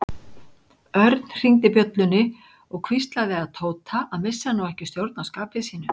Örn hringdi bjöllunni og hvíslaði að Tóta að missa nú ekki stjórn á skapi sínu.